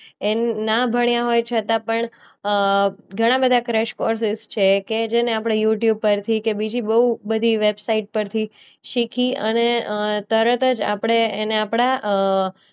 એ ના ભણવ્યા હોય છતાં પણ અ ઘણા બધા ક્રેશ કોર્સીસ છે કે જેને આપણે યૂટ્યૂબ પરથી કે બીજી બોવ બધી વેબસાઈટ પરથી શીખી અને અ તરત જ આપણે એને આપણા અ